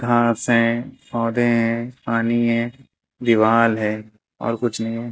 घास हैं पौधे हैं पानी है दीवाल है और कुछ नहीं है।